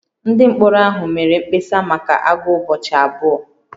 Ndị mkpọrọ ahụ mere mkpesa maka agụụ ụbọchị abụọ